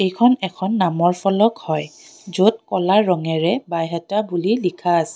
এইখন এখন নামৰ ফলক হয় য'ত ক'লা ৰঙেৰে বাইহাটা বুলি লিখা আছে।